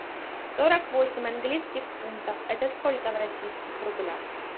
сорок восемь английских фунтов это сколько в российских рублях